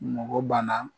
Mɔgɔ banna